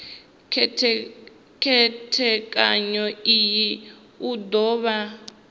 khethekanyo iyi u do vha